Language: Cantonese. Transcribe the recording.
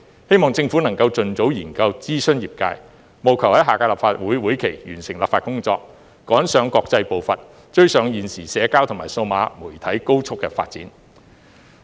希望政府能盡早研究及諮詢業界，並務求在下屆立法會會期內完成立法工作，追上國際步伐，追上現時社交及數碼媒體高速的發展。